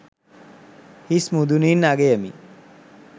හිස් මුදුනින් අගයමි.